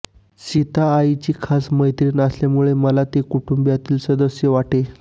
सीता आईची खास मैत्रीण असल्यामुळे मला ती कुटुंबातील सदस्य वाटे